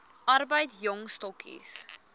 arbeid jong stokkies